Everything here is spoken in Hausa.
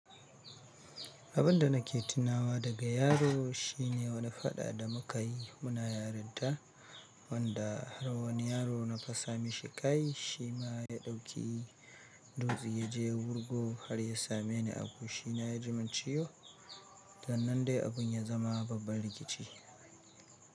Abin da nake tunawa daga yaro shine wani fada da muka yi muna yarinta, wanda har wani yaro na fasa mishi kai shi ma ya dauki duzi ya je wargo har ya same ni a kushi na ya jima ciwo. Dan nan dai abun ya zama babbar rikici.